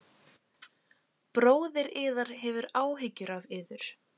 Bróðir yðar hefur áhyggjur af yður